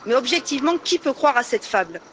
Mais, objectivement, qui peut croire à cette fable?